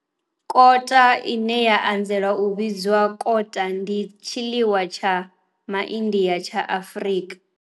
Kota bunny chow ine ya anzela u vhidzwa kota ndi tshiḽiwa tsha MaIndia tsha Afrika.